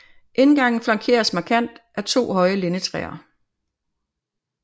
Indgangen flankeres markant af to høje lindetræer